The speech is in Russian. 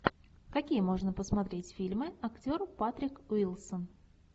какие можно посмотреть фильмы актер патрик уилсон